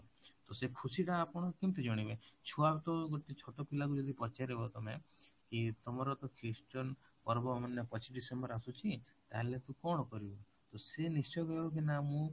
ତ ସେ ଖୁସି ଟା ଆପଣ କେମିତି ଜାଣିବେ ଛୁଆ ତ ଗୋଟେ ଛୋଟ ପିଲାକୁ ଯଦି ପଚାରିବ ତମେ କି ତମର ତ christian ପର୍ବ ମାନେ ପଚିଶ december ରେ ଆସୁଛି ତାହେଲେ ତୁ କଣ କରିବୁ ତ ସେ ନିଶ୍ଚୟ କହିବ ନା ମୁଁ